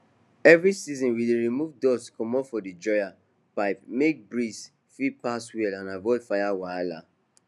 every season we dey remove dust comot for di dryer pipe make fbreeze fit pass well and avoid fire wahala